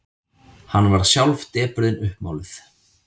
Hann varð sjálf depurðin uppmáluð.